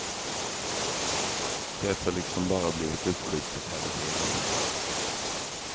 Det har liksom bara blivit uppskjutet hela tiden.